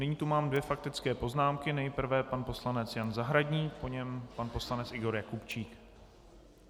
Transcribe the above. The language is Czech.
Nyní tu mám dvě faktické poznámky, nejprve pan poslanec Jan Zahradník, po něm pan poslanec Igor Jakubčík.